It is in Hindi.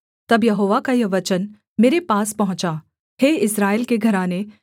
तब यहोवा का यह वचन मेरे पास पहुँचा